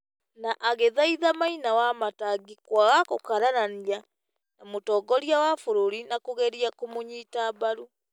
na agethaitha Maina na Wamatangi kwaga gũkararania na mũtongoria wa bũrũri na kũgeria kũmũnyita mbaru.